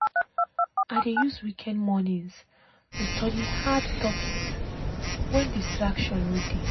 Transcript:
i dey use weekend mornings to study hard topic wen distraction no dey.